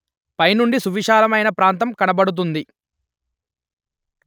పై నుండి సువిశాలమైన ప్రాంతం కనబడుతుంది